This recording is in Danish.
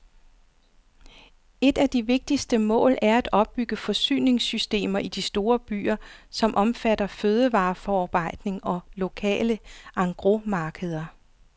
Et af de vigtigste mål er at opbygge forsyningssystemer i de store byer, som omfatter fødevareforarbejdning og lokale engrosmarkeder.